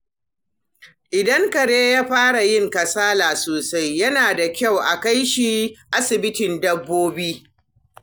Idan kare ya fara yin kasala sosai, yana da kyau a kai shi asibitin dabbobi.